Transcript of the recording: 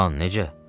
Xan, necə?